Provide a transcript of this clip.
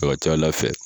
A ka ca ala fɛ